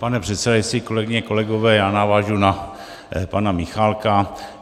Pane předsedající, kolegyně, kolegové, já navážu na pana Michálka.